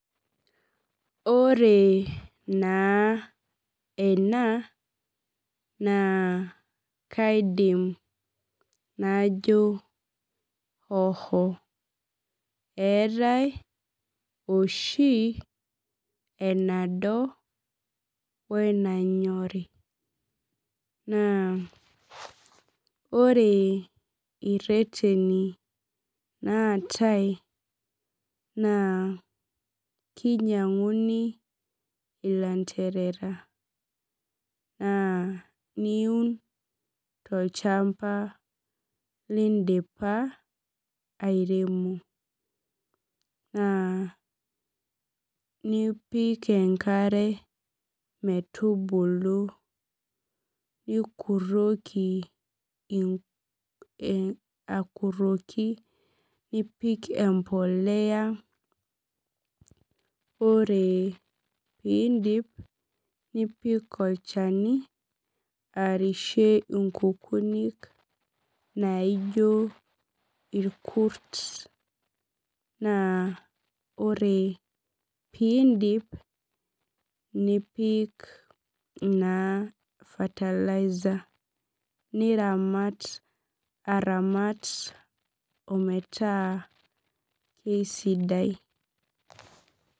Ore naa ena, naa kaidim najo oho. Neetae oshi enado wenanyori. Naa ore ireteni naatae naa kinyang'uni ilanterera. Naa niun olchamba lidipa airemo. Naa nipik enkare metubulu nikurroki akurroki nipik empolea, ore pidi nipik olchani, areshie inkukunik naijo irkut. Naa ore pidip nipik naa fertiliser. Niramat aramat ometaa kesidai.